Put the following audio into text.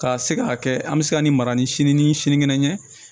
Ka se ka kɛ an bɛ se ka nin mara ni sini ni sinikɛnɛ ɲɛ ye